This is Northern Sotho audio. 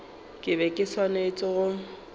ke be ke swanetše go